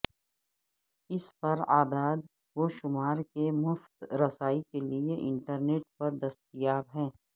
اس پر اعداد و شمار کے مفت رسائی کے لئے انٹرنیٹ پر دستیاب ہیں